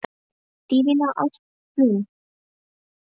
Dvínaði ást þín á mér af þeirri ástæðu?